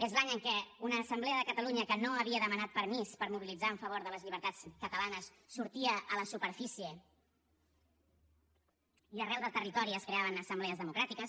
és l’any en què una assemblea de catalunya que no havia demanat permís per mobilitzar a favor de les llibertats catalanes sortia a la superfície i arreu del territori es creaven assemblees democràtiques